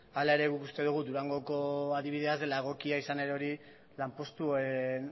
hala ere guk uste dugu durangoko adibidea ez dela egokia izan ere hori lanpostuen